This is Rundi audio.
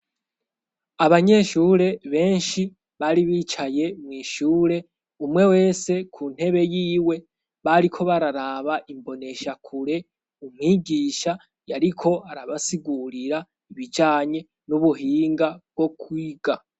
Abanyeshure benshi bari bicaye mw'ishure umwe wese ku ntebe yiwe bariko bararaba imboneshakure, umwigisha yariko arabasigurira ibijanye n'ubuhinga bwo kwiga.